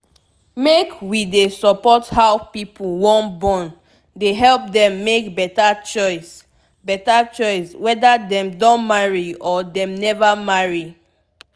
make wey dey support how pipu wan born dey help dem make beta choice beta choice weda dem don marry or dem neva marry